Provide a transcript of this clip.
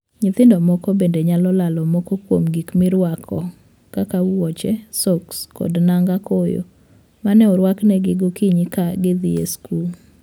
Nyithindo moko bende nyalo lalo moko kuom gik miruako, kaka wuoche, soks, kod nanga koyo mane oruaknegi gokinyi ka gidhii skul.